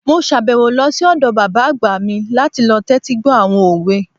Mo sàbẹ̀wò lọ sí ọ̀dọ̀ bàbá àgbà mi láti lọ tẹ́tí gbọ́ àwọn òwe